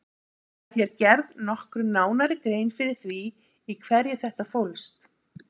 Skal hér gerð nokkru nánari grein fyrir því í hverju þetta fólst.